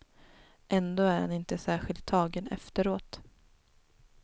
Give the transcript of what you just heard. Ändå är han inte särskilt tagen efteråt.